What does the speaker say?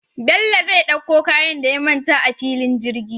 Bello zai ɗakko kayan da ya manta a fillin jirgi